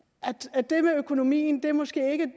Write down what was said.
at det med økonomien måske ikke